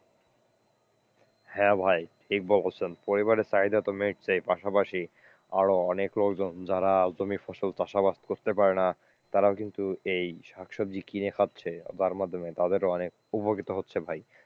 হ্যাঁ ভাই ঠিক বলেছেন পরিবারের চাহিদা তো মিটছেই পাশাপাশি আরো অনেকেই যারা জমির ফসল চাষাবাদ করতে পারেনা তারা কিন্তু এই শাকসবজি কিনে খাচ্ছে আপনার মাধ্যমে, তাদেরও অনেক উপকৃত হচ্ছে ভাই।